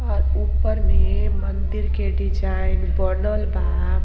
अर ऊपर में मंदिर के डिज़ाइन बनल बा।